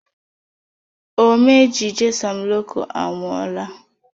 Omee ejije Sam Loco anwụọla